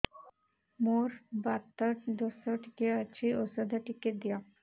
ମୋର୍ ବାତ ଦୋଷ ଟିକେ ଅଛି ଔଷଧ ଟିକେ ଦିଅ